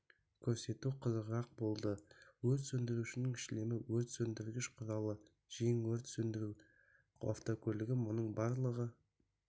көрсетуі қызығырақ болды өрт сөндірушінің шлемі өрт сөндіргіш құралы жең өрт сөндіру автокөлігі мұның барлығы